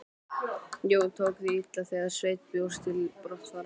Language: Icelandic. Jón tók því illa þegar Sveinn bjóst til brottfarar.